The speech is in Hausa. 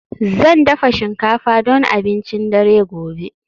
Zan dafa shinkafa don abincin dare gobe